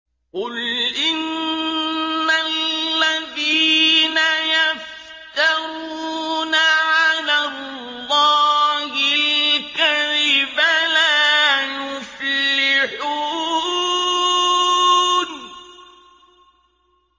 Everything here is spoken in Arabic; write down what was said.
قُلْ إِنَّ الَّذِينَ يَفْتَرُونَ عَلَى اللَّهِ الْكَذِبَ لَا يُفْلِحُونَ